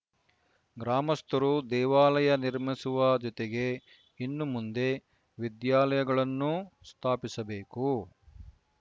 ಗ್ರಾಮಸ್ಥರು ದೇವಾಲಯ ನಿರ್ಮಿಸುವ ಜೊತೆಗೆ ಇನ್ನು ಮುಂದೆ ವಿದ್ಯಾಲಯಗಳನ್ನೂ ಸ್ಥಾಪಿಸಬೇಕು